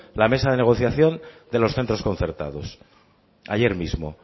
la mesa de negociación de los centros concertados ayer mismo